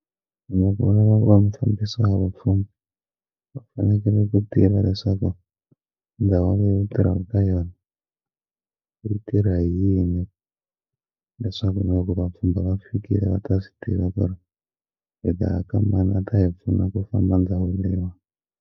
Loko u lava ku va mufambisi wa vapfhumba va fanekele ku tiva leswaku ndhawu leyi yi tirhaka ka yona yi tirha hi yini leswaku na loko vapfhumba va fikile va ta swi tiva ku ri hi ta ya ka mani a ta hi pfuna ku famba ndhawu leyiwa.